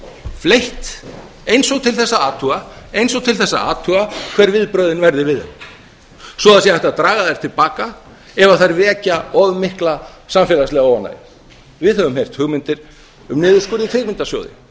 fleytt eins og til þess að athuga hver viðbrögðin verði við þeim svo það sé hægt að draga þær til baka ef þær vekja of mikla samfélagslega óánægju við höfum heyrt hugmyndir um niðurskurð í kvikmyndasjóði